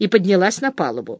и поднялась на палубу